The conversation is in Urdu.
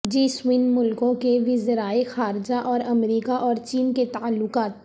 جی سیون ملکوں کے وزرائے خارجہ اور امریکہ اور چین کے تعلقات